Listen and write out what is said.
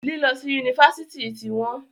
Lílọ́ si Yunifásitì tí wọ́n..